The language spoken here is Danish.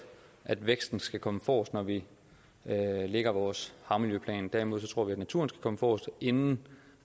at væksten skal komme forrest når vi lægger vores havmiljøplan derimod tror vi at naturen skal komme forrest inden